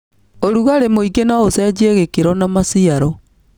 ũrugarĩ mũingĩ noũcenjie gĩkĩro na maciaro.